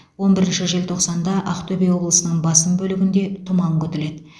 он бірінші желтоқсанда ақтөбе облысының басым бөлігінде тұман күтіледі